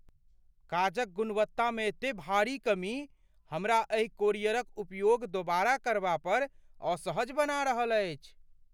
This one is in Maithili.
काजक गुणवत्तामे एते भारी कमी हमरा एहि कोरियरक उपयोग दोबारा करबा पर असहज बना रहल अछि।